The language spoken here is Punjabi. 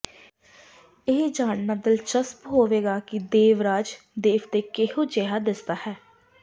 ਇਹ ਜਾਨਣਾ ਦਿਲਚਸਪ ਹੋਵੇਗਾ ਕਿ ਦੇਵਰਾਜ ਦੇਵਤੇ ਕਿਹੋ ਜਿਹਾ ਦਿੱਸਦਾ ਹੈ